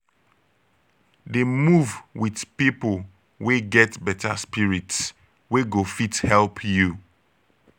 dey move wit pipo wey get beta spirit wey go fit help you